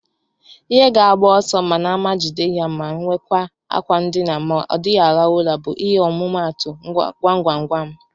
Ihe ga agbo ọsọ mana ama jide ya ma nwekwa akwa ndina ma odighi alarụ ụra bu ihe ọmụmatu gwam-gwam-gwam.